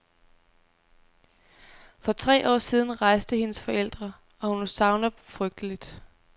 For tre år siden rejste hendes forældre, og hun savner dem frygteligt.